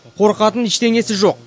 қорқатын ештеңесі жоқ